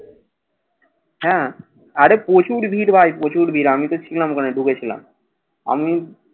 হ্যাঁ, আরে প্রচুর ভীড় ভাই। প্রচুর ভীড়। আমি তো ছিলাম, ওখানে ঢুকেছিলাম। আমি